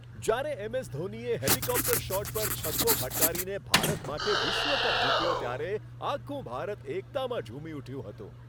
જ્યારે એમ.એસ. ધોનીએ helicopter shot પર છગ્ગો ફટકારીને ભારત માટે વિશ્વ કપ જીત્યો ત્યારે આખું ભારત એકતામાં ઝૂમી ઉઠ્યું હતું.